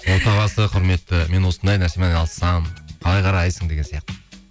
отағасы құрметті мен осындай нәрсемен айналыссам қалай қарайсың деген сияқты